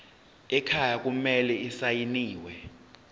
ekhaya kumele asayiniwe